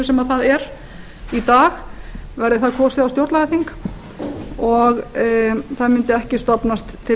sem það er í dag væri það kosið á stjórnlagaþing og það mundi ekki stofnast til